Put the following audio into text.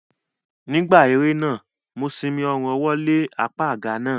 Nígbà eré náà, mo simi ọrùn ọwọ́ lé apá àga náà